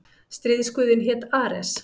Stríðsguðinn hét Ares.